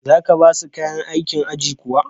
za ka ba su kayan aikin aji kuwa?